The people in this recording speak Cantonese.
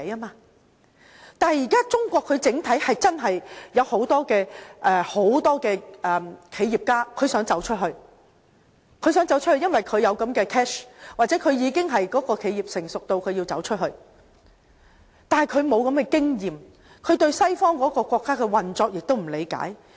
但是，現時中國真的有很多企業家想走出去，因為他們有財富，又或他們的企業已經發展成熟，需要走出去，但他們沒有這樣的經驗，也不理解西方國家的運作。